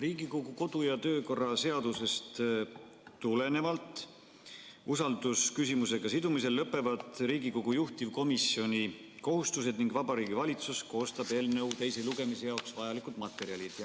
Riigikogu kodu- ja töökorra seadusest tulenevalt usaldusküsimusega sidumisel lõpevad Riigikogu juhtivkomisjoni kohustused ning Vabariigi Valitsus koostab eelnõu teise lugemise jaoks vajalikud materjalid.